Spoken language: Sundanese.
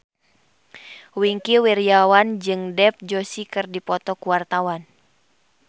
Wingky Wiryawan jeung Dev Joshi keur dipoto ku wartawan